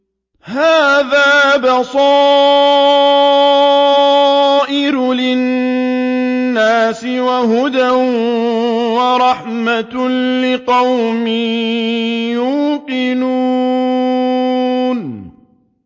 هَٰذَا بَصَائِرُ لِلنَّاسِ وَهُدًى وَرَحْمَةٌ لِّقَوْمٍ يُوقِنُونَ